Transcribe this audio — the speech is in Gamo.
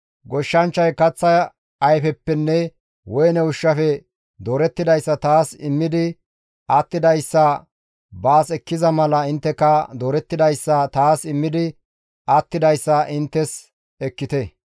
« ‹Goshshanchchay kaththa ayfeppenne woyne ushshafe doorettidayssa taas immidi attidayssa baas ekkiza mala intteka doorettidayssa taas immidi attidayssa inttes ekkite.